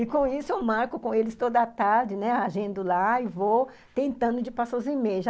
E com isso eu marco com eles toda tarde, né, agendo lá e vou tentando de passar os e-mails.